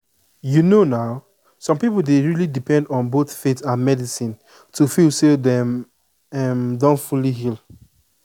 you know na some people dey really depend on both faith and medicine to feel say dem um don fully heal.